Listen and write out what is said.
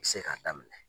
Bɛ se k'a daminɛ